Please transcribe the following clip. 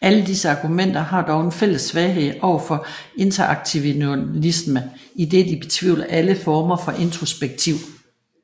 Alle disse argumenter har dog en fælles svaghed overfor interaktionalisme idet de betvivler alle former for introspektiv